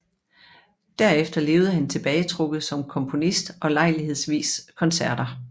Derefter levede han tilbagetrukket som komponist og lejlighedsvise koncerter